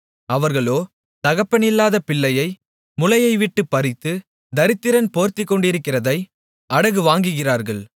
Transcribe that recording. அவர்களோ தகப்பனில்லாத பிள்ளையை முலையைவிட்டுப்பறித்து தரித்திரன் போர்த்துக்கொண்டிருக்கிறதை அடகு வாங்குகிறார்கள்